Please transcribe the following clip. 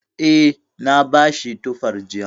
Eh, na bashi tufar jiya.